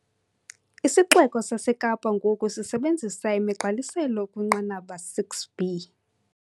IsiXeko saseKapa ngoku sisebenzisa imigqaliselo ekwinqanaba 6B.